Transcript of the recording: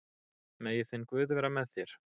Megi þinn guð vera með þér.